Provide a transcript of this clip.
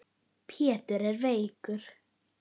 Pétur er veikur.